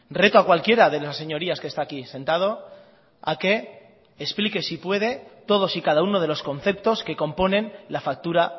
reto a cualquiera de las señorías que está aquí sentado a que explique si puede todos y cada uno de los conceptos que componen la factura